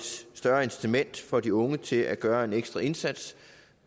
større incitament for de unge til at gøre en ekstra indsats